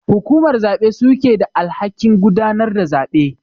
Hukumar zabe su suke da alhakin gudanar da zabe.